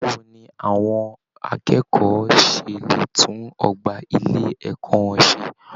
Báwo ni àwọn akẹ́kọ̀ọ́ ṣe lè tún ọgbà ilé ẹ̀kọ́ wọn ṣe?